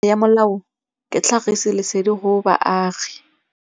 Tokomane ya molao ke tlhagisi lesedi go baagi.